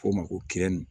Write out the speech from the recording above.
F'o ma ko